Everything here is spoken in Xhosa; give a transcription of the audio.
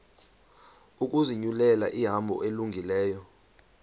ukuzinyulela ihambo elungileyo